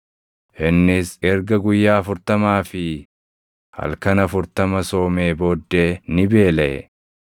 Innis erga guyyaa afurtamaa fi halkan afurtama soomee booddee ni beelaʼe.